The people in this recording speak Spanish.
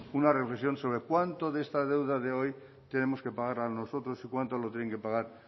una reflexión sobre cuánto de esta deuda de hoy tenemos que pagar nosotros y cuánto tienen que pagar